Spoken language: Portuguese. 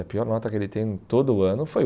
A pior nota que ele tem todo ano foi